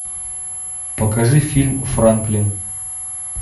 покажи фильм франклин